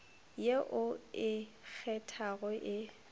ye o e kgethago e